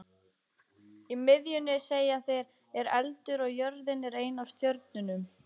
Í miðjunni, segja þeir, er eldur og jörðin er ein af stjörnunum.